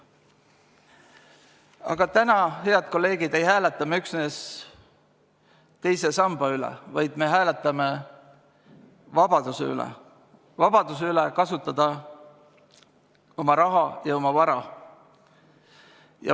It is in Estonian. Aga täna, head kolleegid, ei hääleta me üksnes teise samba üle, vaid me hääletame vabaduse üle, vabaduse üle kasutada oma raha ja oma vara.